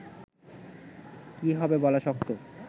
কী হবে বলা শক্ত